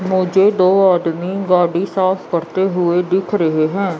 मुझे दो आदमी गाड़ी साफ करते हुए दिख रहे हैं।